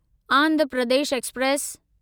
Andhra Pradesh express